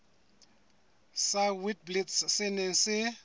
sa witblits se neng se